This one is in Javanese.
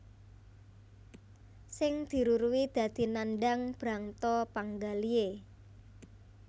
Sing diruruhi dadi nandhang brangta panggalihé